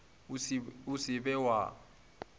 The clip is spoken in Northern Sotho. o se wa ba wa